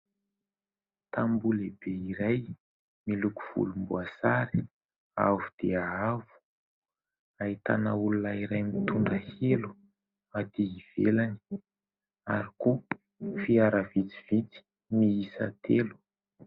Tamboho lehibe iray miloko volomboasary avo dia avo ahitana olona iray mitondra elo aty ivelany ary koa fiara vitsivitsy miisa telo.